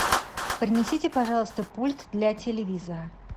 принесите пожалуйста пульт для телевизора